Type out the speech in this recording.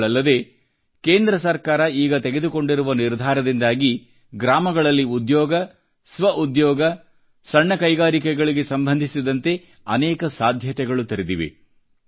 ಇವುಗಳಲ್ಲದೆ ಕೇಂದ್ರ ಸರ್ಕಾರ ಈಗ ತೆಗೆದುಕೊಂಡಿರುವ ನಿರ್ಧಾರದಿಂದಾಗಿ ಗ್ರಾಮಗಳಲ್ಲಿ ಉದ್ಯೋಗ ಸ್ವಉದ್ಯೋಗ ಸಣ್ಣ ಕೈಗಾಲಿಕೆಗಳಿಗೆ ಸಂಬಂಧಿಸಿದಂತೆ ಅನೇಕ ಸಾಧ್ಯತೆಗಳು ತೆರೆದಿವೆ